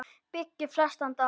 byggir flestan dag